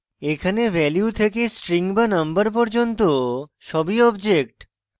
এখানে value থেকে string বা number পর্যন্ত সবই object